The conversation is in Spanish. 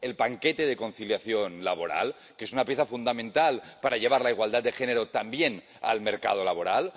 el paquete de conciliación laboral, que es una pieza fundamental para llevar la igualdad de género también al mercado laboral